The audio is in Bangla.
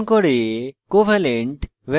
covalent van der waals এবং